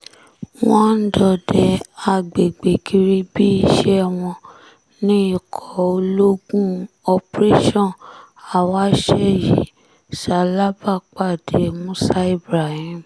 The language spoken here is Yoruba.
wọ́n ń dọdẹ àgbègbè kiri bíi ìṣe wọn ní ikọ̀ ológun operation awase yìí ṣalábàpàdé musa ibrahim